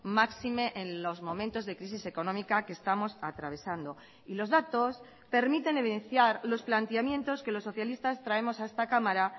máxime en los momentos de crisis económica que estamos atravesando y los datos permiten evidenciar los planteamientos que los socialistas traemos a esta cámara